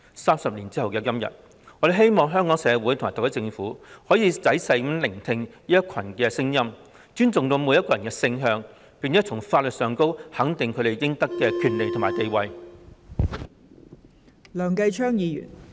三十年後的今天，我希望香港社會及特區政府可以仔細聆聽此一群體的聲音，尊重每個人的性向，並從法律上肯定他們應有的權利和地位。